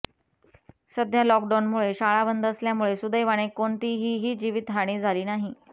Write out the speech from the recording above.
सध्या लॉकडाऊनमुळे शाळा बंद असल्यामुळे सुदैवाने कोणतीहीही जीवितहानी झाली नाही